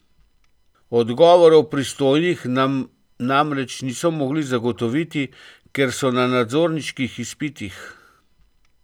Odgovorov pristojnih nam namreč niso mogli zagotoviti, ker so na nadzorniških izpitih.